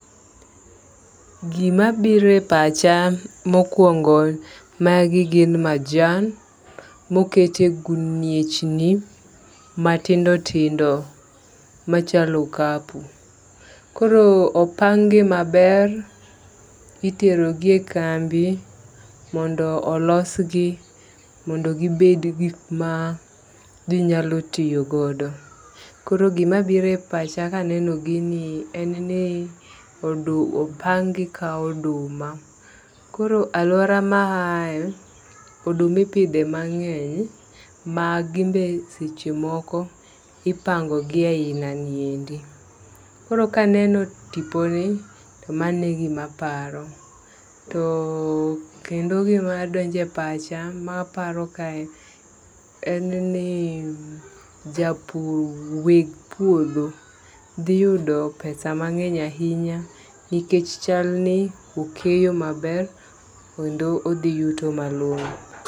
Gima bire pacha mokwongo magi gin majan mokete guniechni matindo tindo machalo okapu. Koro opang gi maber itero gie kambi mondo olos gi mondo gibed gik ma ginyalo tiyo godo. Koro gima gire pacha kaneno gini en ni odu opang gi ka oduma. Koro aluora ma ae oduma ipidhe mang'eny ma gin be seche moko ipango gie aina niendi koro kaneno tiponi to mane gima paro. Too kendo gimadonje pacha maparo kae en ni japur weg puro dhi yudo pesa mang'eny ahinya nikech chal ni okeyo maber kendo odhi yuto malong'o.